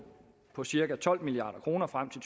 på cirka tolv milliard kroner frem